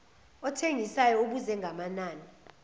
othengisayo ubuze ngamanani